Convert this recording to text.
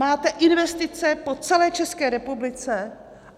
Máte investice po celé České republice.